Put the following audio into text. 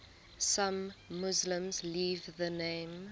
some muslims leave the name